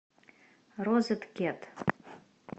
розеткед